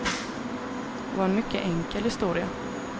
Det var en mycket enkel historia.